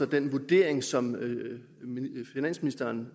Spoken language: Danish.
den vurdering som finansministeren